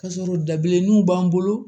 Ka sɔrɔ dabilenninw b'an bolo